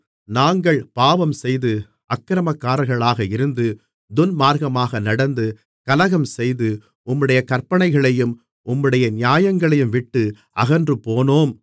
நாங்கள் பாவம்செய்து அக்கிரமக்காரர்களாக இருந்து துன்மார்க்கமாக நடந்து கலகம்செய்து உம்முடைய கற்பனைகளையும் உம்முடைய நியாயங்களையும் விட்டு அகன்றுபோனோம்